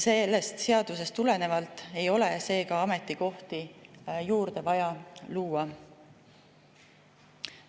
Sellest seadusest tulenevalt ei ole seega ametikohti juurde vaja luua.